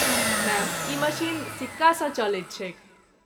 Ma'am, ई machine सिक्कासँ चलैत छैक।